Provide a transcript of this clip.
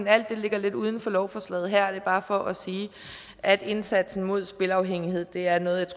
alt det ligger lidt uden for lovforslaget her det er bare for at sige at indsatsen mod spilafhængighed er noget